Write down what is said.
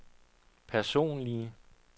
personlige